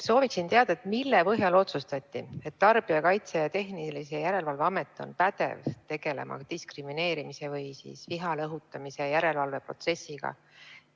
Soovin teada, mille põhjal otsustati, et Tarbijakaitse ja Tehnilise Järelevalve Amet on pädev tegelema diskrimineerimise või viha õhutamise järelevalvega.